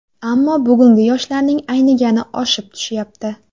Ammo bugungi yoshlarning aynigani oshib tushyapti.